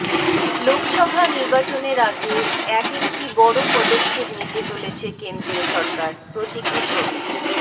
লোকসভা নির্বাচনের আগে এক একটি বড় পদক্ষেপ নিতে চলেছে কেন্দ্রীয় সরকার প্রতীকী ছবি